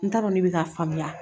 N ta dɔn ne bɛ ka faamuya